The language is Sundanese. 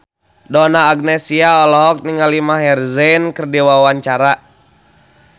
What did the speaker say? Donna Agnesia olohok ningali Maher Zein keur diwawancara